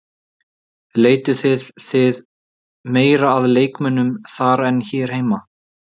Leituðuð þið meira að leikmönnum þar en hér heima?